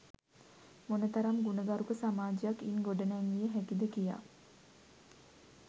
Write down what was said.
මොනරතම් ගුණගරුක සමාජයක් ඉන් ගොඩ නැංවිය හැකිද කියා